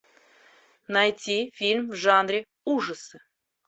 найти фильм в жанре ужасы